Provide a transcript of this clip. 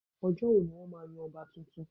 Ọjọ́ wo ni wọ́n máa yan ọba tuntun